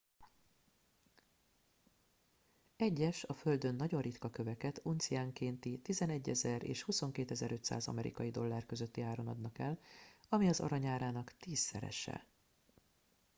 egyes a földön nagyon ritka köveket unciánkénti 11,000 és 22,500 amerikai dollár közötti áron adnak el ami az arany árának tízszerese